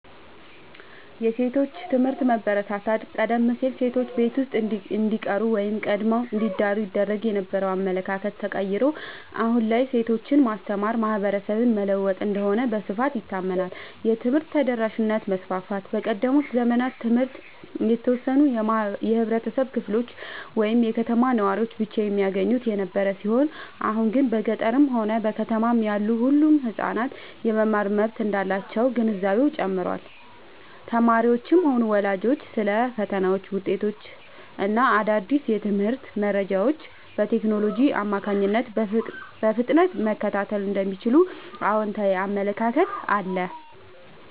የሴቶች ትምህርት መበረታታት፦ ቀደም ሲል ሴቶች ቤት ውስጥ እንዲቀሩ ወይም ቀድመው እንዲዳሩ ይደረግ የነበረው አመለካከት ተቀይሮ፣ አሁን ላይ ሴቶችን ማስተማር ማህበረሰብን መለወጥ እንደሆነ በስፋት ይታመናል። የትምህርት ተደራሽነት መስፋፋት፦ በቀደሙት ዘመናት ትምህርት የተወሰኑ የህብረተሰብ ክፍሎች ወይም የከተማ ነዋሪዎች ብቻ የሚያገኙት የነበረ ሲሆን፣ አሁን ግን በገጠርም ሆነ በከተማ ያሉ ሁሉም ህጻናት የመማር መብት እንዳላቸው ግንዛቤው ጨምሯል። ተማሪዎችም ሆኑ ወላጆች ስለ ፈተናዎች፣ ውጤቶች እና አዳዲስ የትምህርት መረጃዎች በቴክኖሎጂ አማካኝነት በፍጥነት መከታተል እንደሚችሉ አዎንታዊ አመለካከት አለ።